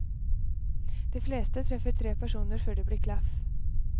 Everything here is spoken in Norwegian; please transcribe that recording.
De fleste treffer tre personer før det blir klaff.